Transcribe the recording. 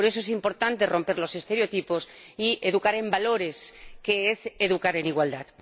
Por eso, es importante romper los estereotipos y educar en valores, que es educar en igualdad.